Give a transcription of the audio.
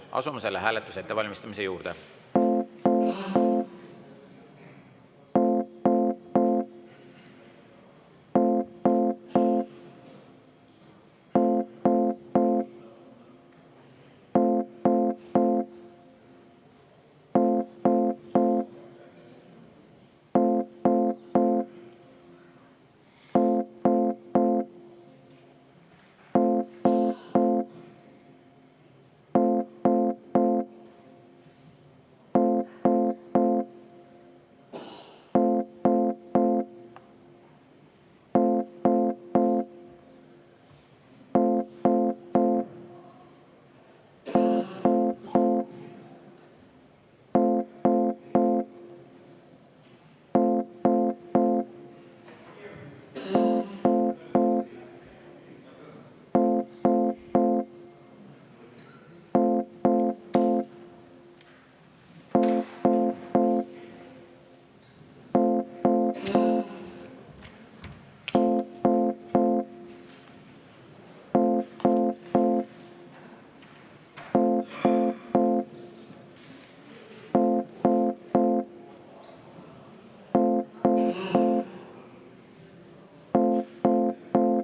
Asume selle hääletuse ettevalmistamise juurde.